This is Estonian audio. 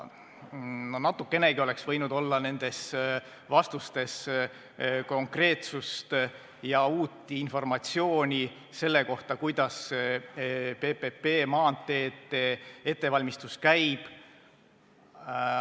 No natukenegi oleks võinud olla nendes vastustes konkreetsust ja uut informatsiooni, kuidas PPP maanteede ettevalmistus käib.